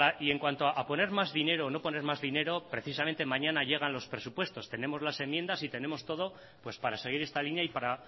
y en cuanto a poner más dinero o no poner más dinero precisamente mañana llegan los presupuestos tenemos las enmiendas y tenemos todo pues para seguir esta línea y para